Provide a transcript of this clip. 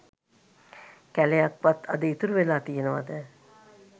කැලයක් වත් අද ඉතුරු වෙලා තියනවද?